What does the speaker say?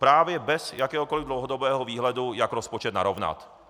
Právě bez jakéhokoli dlouhodobého výhledu, jak rozpočet narovnat.